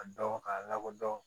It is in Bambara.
A dɔn k'a lakodɔn